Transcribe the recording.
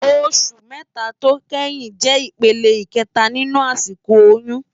Óṣù mètá tó kéyìn jè ipélé ikètá ninú àsikó óyùn